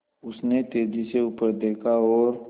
उसने तेज़ी से ऊपर देखा और